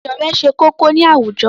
Ìṣọ̀rẹ́ ṣe kókó ní àwùjọ.